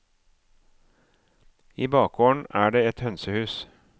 I bakgården er det et hønsehus.